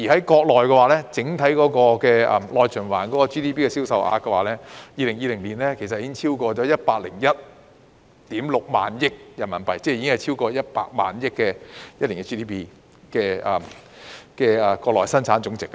國家整體內循環的 GDP 在2020年已經超過 101.6 萬億元人民幣，即國內生產總值已經超過100萬億元。